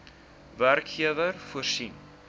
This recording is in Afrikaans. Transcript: werkgewer voorsien